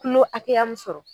Kulo hakɛya mu sɔrɔ